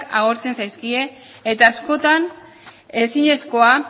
agortzen zaizkie